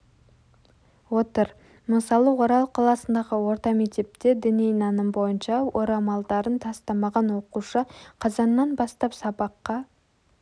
отыр мысалы орал қаласындағы орта мектепте діни наным бойынша орамалдарын тастамаған оқушы қазаннан бастап сабаққа